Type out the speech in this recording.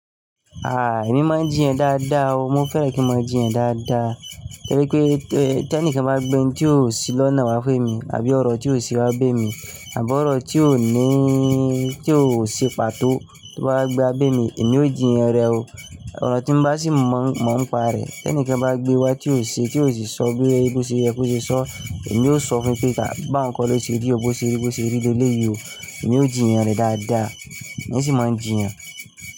Ah! Èmi máa ń jìyàn dáadáa o, mo fẹ́ràn kí n máa jìyàn dáadáa. Torí pé tí ẹnikẹ́ni bá gbé ń tí ò sí lọ́nà wá fún mi àbí ọ̀rọ̀ tí ò sí wá bé mi àbí ọ̀rọ̀ tí ò níí, tí ò ṣe pàtó tó bá wá gbé wa bé mi, èmi ò jìyàn rẹ o. Ọ̀rọ̀ tí ń bá sì mọ̀ ń pa rẹ̀, tí ẹnikẹ́ni bá gbé wá tí ò ṣe, tí ò sì sọ bí ẹni pé ó ṣe yẹ kó ṣe sọ, èmi yóò sọ fún un pé ka bá nǹkan lọ ṣe rí, ó bó ṣe rí bó ṣe rí le léyìí o, èmi ò jìyàn rẹ̀ dáadáa. Èmi sì máa ń jìyàn.